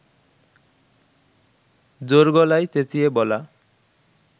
জোর গলায় চেঁচিয়ে বলা